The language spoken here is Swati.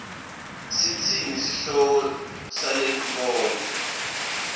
sitsini sihloko salenkondlo